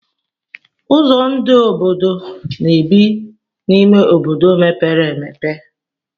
Ụzọ ndụ obodo na-ebi n'ime obodo mepere emepe.